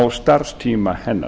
á starfstíma hennar